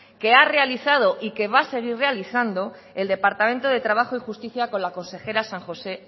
que ha realizado y que va a seguir realizando el departamento de trabajo y justicia con la consejera san josé